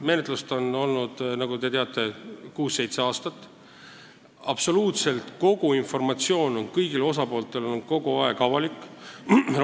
Menetlemine on kestnud, nagu te teate, kuus või seitse aastat, absoluutselt kogu informatsioon on kõigile osapooltele olnud kogu aeg kättesaadav.